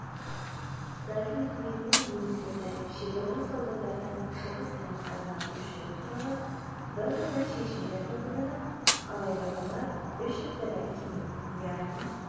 сталин үкіметінің немістерді шекаралас аудандардан шығыс аймақтарына көшіру туралы бірқатар шешімдер қабылданып алайда олар үш аптадан кейін яғни